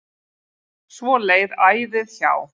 Svo leið æðið hjá.